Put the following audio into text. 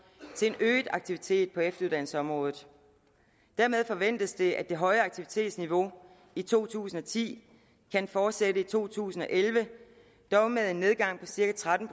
til en øget aktivitet på efteruddannelsesområdet dermed forventes det at det høje aktivitetsniveau i to tusind og ti kan fortsætte i to tusind og elleve dog med en nedgang på cirka tretten